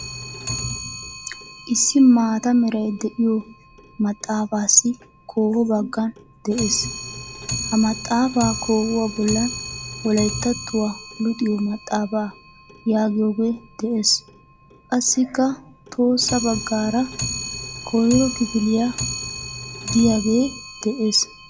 Issi maataa meray de'iyoo maxaafaassi kooho baggan de'ees. Ha maaxaafaa kouwaa bollan "Wolayttattuwa luxiyo maxaafaa" yaagiyaagee de'ees. Qassikka tohossa baggaara "Koyiro kifiliya" giyaagee de'ees.